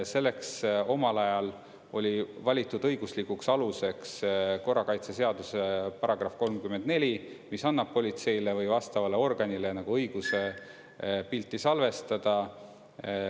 Omal ajal oli valitud õiguslikuks aluseks korrakaitseseaduse paragrahv 34, mis annab politseile või vastavale organile õiguse pilti salvestada.